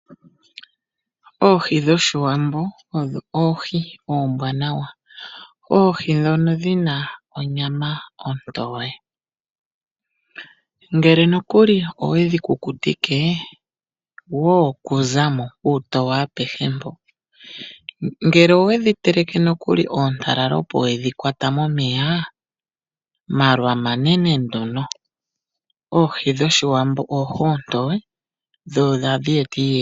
Oohi dhOshiwambo odho oohi oombwaanawa. Oohi dhono dhina onyama ontowe. Ngele nokuli owedhi kukutike, woo kuzamo uutoye apehe mpo. Ngele owe dhiteleke nokuli oontalala opo wedhikwata momeya, malwa manene nduno. Oohi dhOshiwambo oohi oontoye.